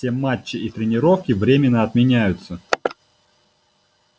все матчи и тренировки временно отменяются